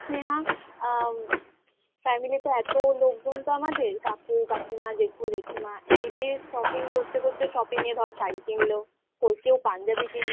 আরে আসলে কি বলতো স্নেহা আ family তে এত লোকজন তো আমাদের কাকু কাকিমা জেঠু জেঠিমা এদের shopping করতে করতে shopping এ ধর শাড়ি কিনলো কই কেউ পাঞ্জাবি কিনলো